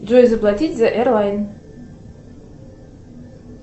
джой заплатить за эрлайн